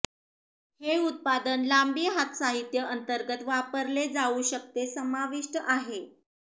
हे उत्पादन लांबी हात साहित्य अंतर्गत वापरले जाऊ शकते समाविष्टीत आहे